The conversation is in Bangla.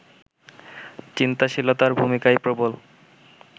চিন্তাশীলতা’র ভূমিকাই প্রবল